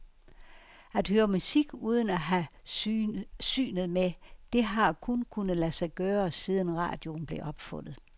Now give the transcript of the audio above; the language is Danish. At høre musik, uden at have synet med, det har kun kunnet lade sig gøre, siden radioen blev opfundet.